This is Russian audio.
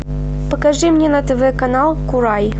покажи мне на тв канал курай